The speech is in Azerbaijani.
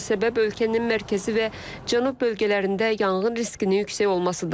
Buna səbəb ölkənin mərkəzi və cənub bölgələrində yanğın riskinin yüksək olmasıdır.